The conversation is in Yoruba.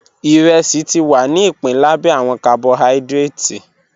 Iresi ti wa ni ipin labẹ awọn carbohydrates